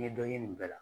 N ye dɔ ɲini nin bɛɛ la